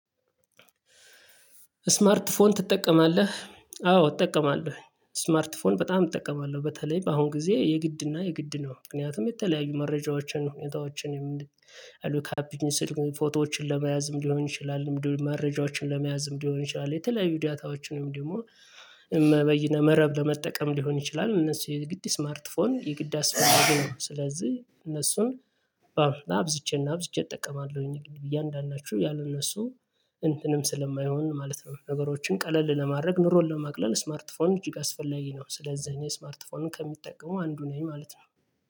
ስማርት ፎን ትጠቀማለህ? አዎ እጠቀማለሁ። ስማርት ፎን በጣም እጠቀማለሁ በተለይ በአሁን ጊዜ የግድና የግድ ነው ምክንያቱም የተለያዩ መረጃዎችን ሁኔታዎችን። አሉ ካፒን ስል ፎቶዎችን ለመያዝም ሊሆን ይችላል መረጃዎችን ለመያዝም ሊሆን ይችላል። የተለያዩ ደታዎችንም ደግሞ እመ በይነመረብ ለመጠቀም ሊሆን ይችላል። እነሱ የግድ ስማርት ፎን የግድ አስፈላጊ ነው። ስለዚህ እነሱን አብዝቼና አብዝቼ እጠቀማለሁኝ እያንዳንደቸው ያሉ እነሱ እንትንም ስለማይሆን ማለት ነው። ነገሮችን ቀለል ለማድረግ ኑሮን ለማቅለል ስማርት ፎን እጅግ አስፈላጊ ነው። ስለዚህ እኔ ስማርት ፎን ከሚጠቀሙ አንዱ ነኝ ማለት ነው